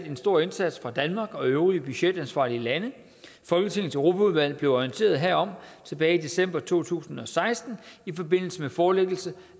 en stor indsats fra danmark og øvrige budgetansvarlige lande folketingets europaudvalg blev orienteret herom tilbage i december to tusind og seksten i forbindelse med forelæggelse